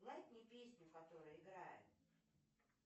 лайкни песню которая играет